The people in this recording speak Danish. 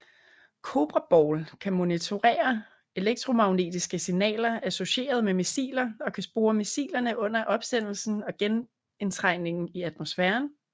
Cobra Ball kan monitorere elektromagnetiske signaler associeret med missiler og kan spore missilerne under opsendelsen og genindtrængen i atmosfæren